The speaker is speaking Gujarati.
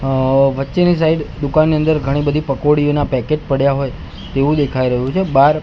અ વચ્ચેની સાઇડ દુકાનની અંદર ઘણી બધી પકોડીઓના પેકેટ પડ્યા હોય તેવુ દેખાય રહ્યુ છે બાર--